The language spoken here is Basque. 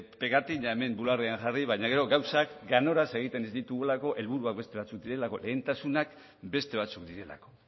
pegatina hemen bularrean jarri baina gero gauzak ganoraz egiten ez ditugulako helburuak beste batzuk direlako lehentasunak beste batzuk direlako